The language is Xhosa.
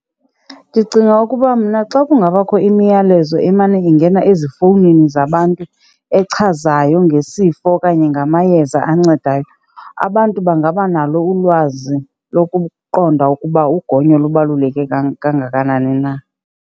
Ndicinga ukuba mna xa kungabakho imiyalezo emane ingena ezifowunini zabantu echazayo ngesifo okanye ngamayeza ancedayo, abantu bangaba nalo ulwazi lokuqonda ukuba ukugonyo lubaluleke kangakanani na.